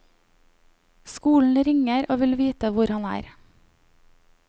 Skolen ringer og vil vite hvor han er.